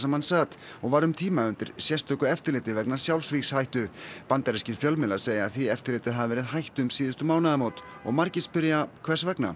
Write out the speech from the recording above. hann sat og var um tíma undir sérstöku eftirliti vegna sjálfsvígshættu bandarískir fjölmiðlar segja að því eftirliti hafi verið hætt um síðustu mánaðamót og margir spyrja hvers vegna